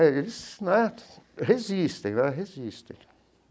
Eles né resistem né, resistem.